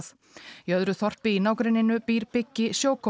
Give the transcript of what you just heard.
í öðru þorpi í nágrenninu býr Biggi